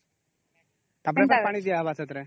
ଟା ପରେ ଟା ପାଣି ଦେଏ ହବ ସେଥିରେ